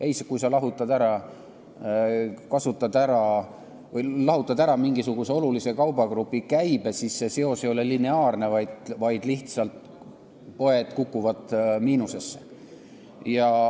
Ei, kui sa lahutad ära mingisuguse olulise kaubagrupi käibe, siis seos ei ole lineaarne, vaid poed kukuvad lihtsalt miinusesse.